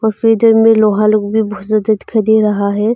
थोड़ी देर में लोहा लोग दिखाई दे रहा है।